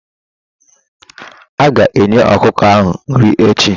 Aga enye ọkụkọ ahụ nri echi.